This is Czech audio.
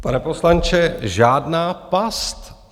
Pane poslanče, žádná past.